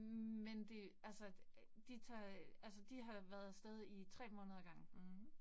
Men det altså, de tager altså de har været af sted i 3 måneder ad gangen